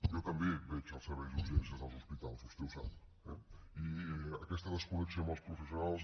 jo també veig els serveis d’urgències dels hospitals vostè ho sap eh i aquesta desconnexió amb els professionals